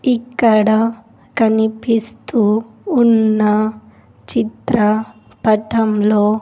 ఇక్కడ కనిపిస్తూ ఉన్న చిత్ర పటంలో.